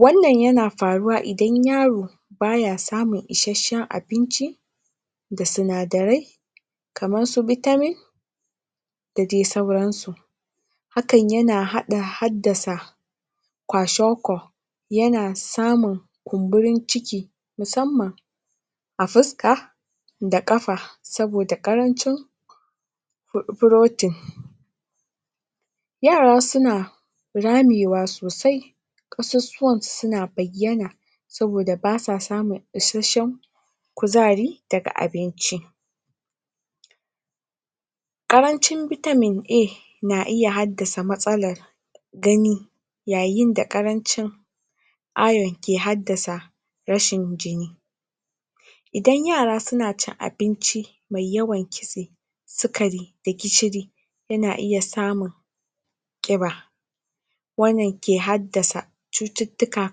Wannan yana faruwa idan yaro ba ya samun isasshen abinci da sinadarai kamarsu vitamin da dai sauransu hakan yana haɗa haddasa kwashen ko yana samun kumburun ciki musamman a fuska da ƙafa saboda ƙarancin protein yara suna ramewa sosai ƙasusuwansu suna bayyan saboda ba sa samun isasshen kuzari daga abinci. Ƙarancin vitamin A na iya haddassa matsalar gani yayin da ƙarancin Iron ke haddasa rashin jini. Idan yara suna cin abinci mai yawan kitse sukari da gishiri yana iya samun ƙiba wannan ke haddasa cututtuka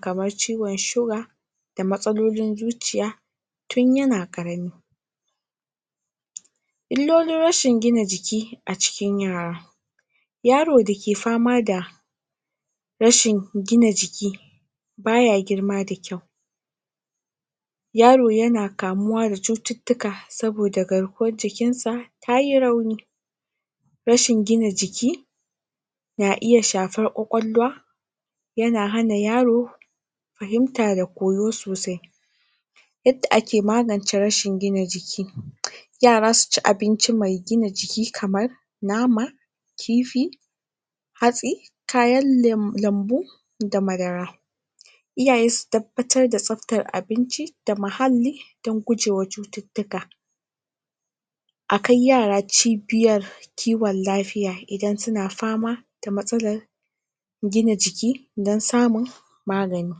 kamar ciwon siga da matsalolin zuciya tun yana ƙarami. Illolin rashin gina jiki a cikin yara. yaro da ke fama da rashin gina jiki ba ya girma da kyau Yaro yana kamuwa da cututtuka saboda garkuwar jikinsa ta yi rauni rashin gina jiki na iya shafar ƙwaƙwalwa yana hana yaro fahimta da koyo sosai yadda ake magance rashin gina jiki. yara su ci abinci mai gina jiki kamar nama kifi hatsi kayan lemo da madara iyaye su tabbatar da tsabtar abinci da muhalli don gujewa cututtuka a kai yara cibiyar kiwon lafiya idan suna fama da matsalar gina jiki don samun magani.